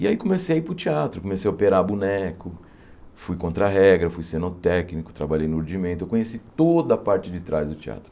E aí comecei a ir para o teatro, comecei a operar boneco, fui contra-regra, fui cenotécnico, trabalhei no ordimento, eu conheci toda a parte de trás do teatro.